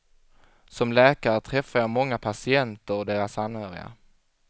Som läkare träffar jag många patienter och deras anhöriga.